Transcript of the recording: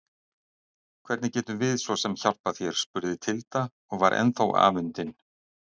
Hvernig getum við svo sem hjálpað þér spurði Tilda og var ennþá afundin.